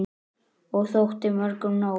Og þótti mörgum nóg.